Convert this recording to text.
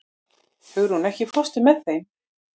Hugrún, ekki fórstu með þeim?